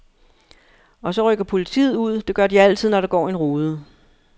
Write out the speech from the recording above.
Og så rykker politiet ud, det gør de altid, når der går en rude.